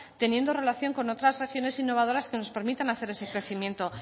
teniendo relación con otras regiones innovadoras que nos permitan hacer ese crecimiento